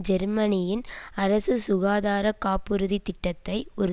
ஜெர்மனியின் அரசு சுகாதார காப்புறுதி திட்டத்தை ஒரு